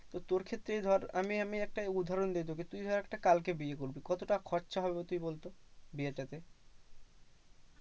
তো তোর ক্ষেত্রেই ধর আমি আমি একটা উদাহরণ দিয়ে তোকে তুই ধর একটা কালকে বিয়ে করলি কত টাকা খরচা হবে তুই বলতো বিয়ের জন্যে?